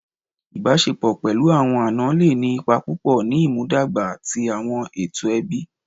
Ìbáṣepọ̀ pẹ̀lú àwọn àna le ní ipa púpọ̀ ní ìmúdàgba ti àwọn ètò ẹbí